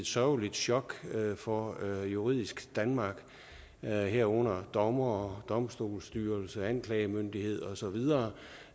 sørgeligt chok for det juridiske danmark herunder dommere domstolsstyrelse anklagemyndighed og så videre